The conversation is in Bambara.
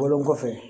Wolo kɔfɛ